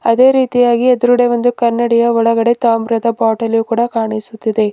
ಅದೇ ರೀತಿಯಾಗಿ ಎದ್ರುಗಡೆ ಒಂದು ಕನ್ನಡಿಯ ಒಳಗೆ ತಾಮ್ರದ ಬಾಟಲು ಕೂಡ ಕಾಣಿಸುತ್ತಿದೆ.